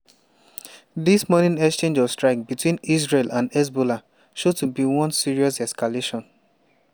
dis morning exchange of strikes between israel and hezbollah show to be one serious escalation.